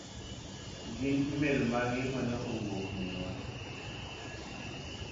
Gin imelmage mane owuok minwa?